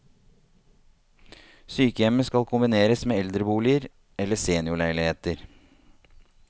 Sykehjemmet skal kombineres med eldreboliger, eller seniorleiligheter.